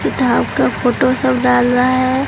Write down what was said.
का फोटो सब डाल रहा है।